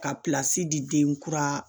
Ka di den kura